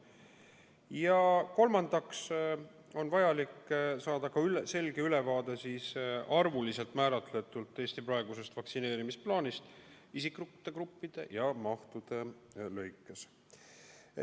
Ja kolmandaks on vajalik saada ka selge ülevaade arvuliselt määratletult Eesti praegusest vaktsineerimisplaanist isikute gruppide ja mahtude lõikes.